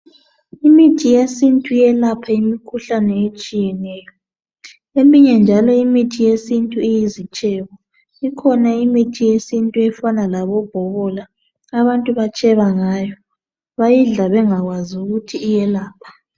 Imithi yesintu iyelapha imikhuhlane etshiyeneyo eminye njalo imithi yesintu iyizitshebo ikhona imithi yesintu efana labobhobola abantu batsheba ngayo bayidla bengakwazi ukuthi iyelapha.